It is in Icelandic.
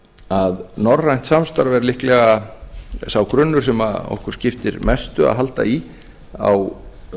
að norrænt samstarf er líklega sá grunnur sem okkur skiptir mestu að halda í á